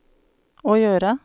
å gjøre